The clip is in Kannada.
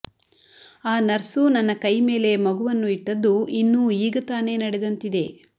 ಆ ನರ್ಸು ನನ್ನ ಕೈ ಮೇಲೆ ಮಗುವನ್ನು ಇಟ್ಟದ್ದು ಇನ್ನೂ ಈಗತಾನೇ ನಡೆದಂತಿದೆ